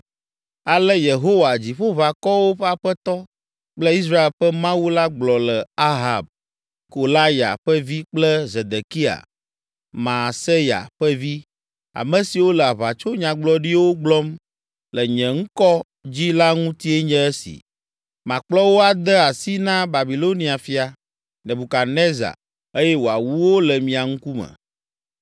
Ale Yehowa, Dziƒoʋakɔwo ƒe Aƒetɔ kple Israel ƒe Mawu la gblɔ le Ahab, Kolaya ƒe vi kple Zedekia, Maaseya ƒe vi, ame siwo le aʋatsonyagblɔɖiwo gblɔm le nye ŋkɔ dzi la ŋutie nye esi: “Makplɔ wo ade asi na Babilonia fia, Nebukadnezar eye wòawu wo le mia ŋkume.